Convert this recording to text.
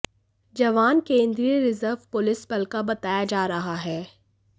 जवान केंद्रीय reserve police बल का बताया जा रहा है